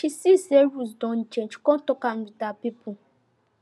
she see say rules don change come talk am with her people